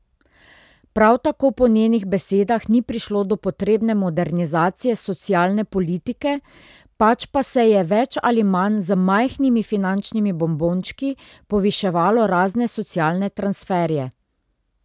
Prav tako po njenih besedah ni prišlo do potrebne modernizacije socialne politike, pač pa se je več ali manj z majhnimi finančnimi bonbončki poviševalo razne socialne transferje.